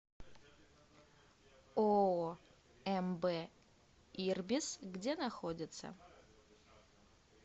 ооо мб ирбис где находится